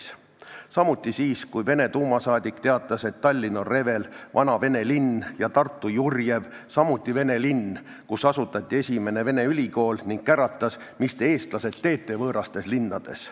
Samuti ei protesteerinud ta siis, kui Vene duuma liige teatas, et Tallinn on Revel, vana Vene linn, ja Tartu Jurjev, samuti Vene linn, kus asutati esimene Vene ülikool, ning käratas, et mis te, eestlased, teete võõrastes linnades.